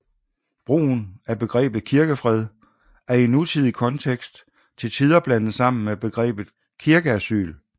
Brugen af begrebet kirkefred er i nutidig kontekst til tider blandet sammen med begrebet Kirkeasyl